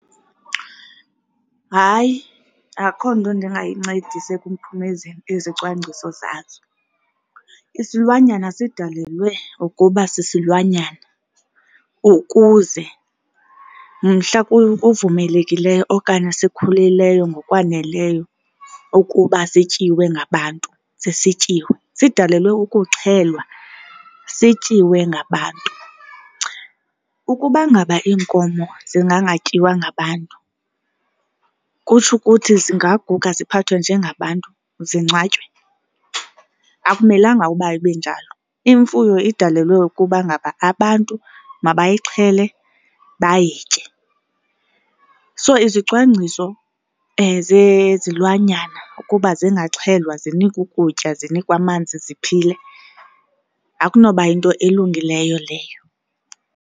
Hayi, akho nto endingayincedisa ekuphumezeni ezicwangciso zazo. Isilwanyana sidalelwe ukuba sisilwanyana ukuze mhla kuvumelekileyo okanye sikhulileyo ngokwaneleyo ukuba sityiwe ngabantu ze sityiwe. Sidalelwe ukuxhelwe sityiwe ngabantu. Ukuba ngaba iinkomo zingangatyiwa ngabantu kutsho ukuthi zingaquga ziphathwe njengabantu, zingcwatywe? Akumelanga uba ibe njalo. Imfuyo idalelwe ukubangaba abantu mabayixhele bayitye. So, izicwangciso zezilwanyana kuba zingaxhelwa zinikwe ukutya zinikwe amanzi ziphile, akunoba yinto elungileyo leyo.